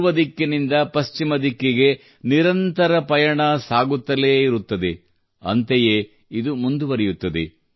ಪೂರ್ವ ದಿಕ್ಕಿನಿಂದ ಪಶ್ಚಿಮ ದಿಕ್ಕಿಗೆ ನಿರಂತರ ಪಯಣ ಸಾಗುತ್ತಲೇ ಇರುತ್ತದೆ ಅಂತೆಯೇ ಇದು ಮುಂದುವರಿಯುತ್ತದೆ